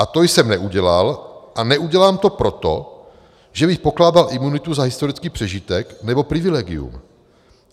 A to jsem neudělal a neudělám to proto, že bych pokládal imunitu za historický přežitek nebo privilegium.